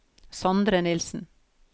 Sondre Nilssen